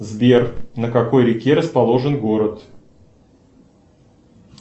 сбер на какой реке расположен город